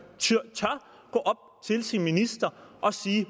sin minister og sige